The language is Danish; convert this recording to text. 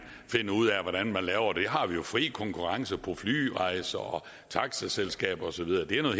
finde ud af hvordan man laver det vi har jo fri konkurrence på flyrejser og taxiselskaber og så videre det er noget